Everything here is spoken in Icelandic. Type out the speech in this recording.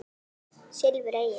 Silfur Egils